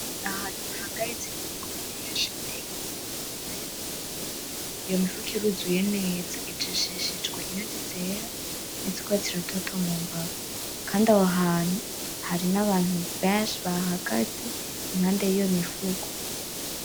N'ahantu hahagaritse Imifuko mwinshi irimwo ibiraya, Iyo mifuko iruzuye neza, ijishijwe inyuzi zera ,n'izu rwatsi rutoto mumbavu, Kandi aho hantu hari n'abantu benshi bahahagaze impande y'iyo mifuko.